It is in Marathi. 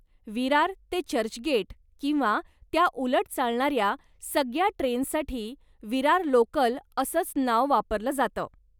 विरार ते चर्चगेट किंवा त्या उलट चालणाऱ्या सगळ्या ट्रेन्ससाठी विरार लोकल असंच नाव वापरलं जातं.